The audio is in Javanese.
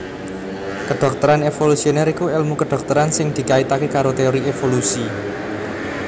Kedhokteran evolusioner iku èlmu kedhokteran sing dikaitaké karo teori evolusi